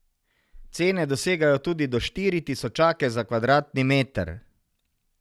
Cene dosegajo tudi do štiri tisočake za kvadratni meter.